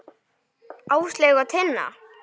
Áslaug og Tinna.